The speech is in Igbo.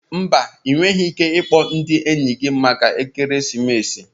Mba, Ị nweghị ike ịkpọ ndị enyi gị maka ekeresimesi